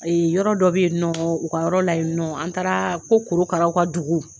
A ye yɔrɔ dɔ bɛ yen nɔ u ka yɔrɔ la yen nɔ an taara ko korokaraw ka dugu